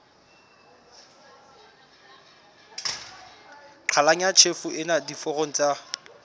qhalanya tjhefo ena diforong tsa